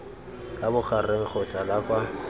la bogareng kgotsa la kwa